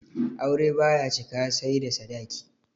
Aure baya cika sai da sadaki